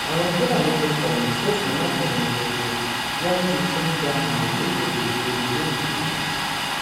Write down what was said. àwọn fúlàní tí kọyìn sí òfin máfẹranjẹko wọn ti tún ń da màálùú kiri ìgboro londo